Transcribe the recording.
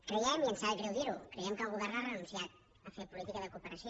creiem i ens sap greu dir ho que el govern ha renunciat a fer política de cooperació